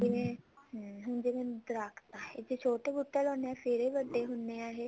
ਜਿਵੇਂ ਹਮ ਜਿਵੇਂ ਦਰਖਤ ਜੇ ਛੋਟੇ ਬੂਟੇ ਲਾਉਂਦੇ ਹਾਂ ਫ਼ੇਰ ਹੀ ਵੱਡੇ ਹੁੰਦੇ ਆ ਇਹ